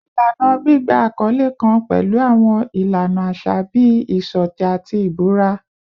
Ilana gbigba akọle kan pẹlu awọn ilana aṣa bii iṣọtẹ ati ibura